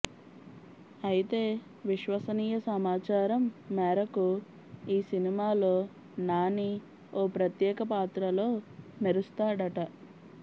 అయితే విశ్వసనీయ సమాచారం మేరకు ఈ సినిమాలో నాని ఓ ప్రత్యేక పాత్రలో మెరుస్తాడట